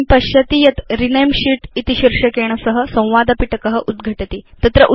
भवान् पश्यति यत् रेणमे शीत् इति शीर्षकेण सह संवाद पिटक उद्घटति